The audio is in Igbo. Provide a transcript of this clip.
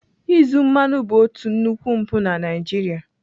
Izu mmanụ bụ otu nnukwu mpụ na Naịjirịa.